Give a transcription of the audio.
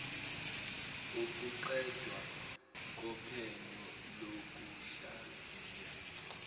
kokuqedwa kophenyo lokuhlaziya